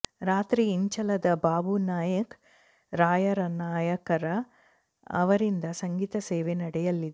ರಾತ್ರಿ ಇಂಚಲದ ಬಾಬುನಾಯ್ಕ ರಾಯನಾಯ್ಕರ ಅವರಿಂದ ಸಂಗೀತ ಸೇವೆ ನಡೆಯಲಿದೆ